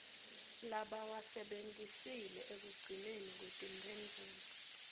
labawasebentisile ekugcineni kwetimphendvulo